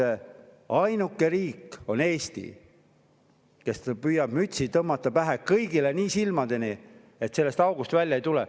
Eesti on ainuke riik, kes tõmbab kõigile mütsi niimoodi silmini pähe, et sellest august välja ei tule.